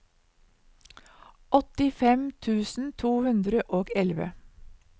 åttifem tusen to hundre og elleve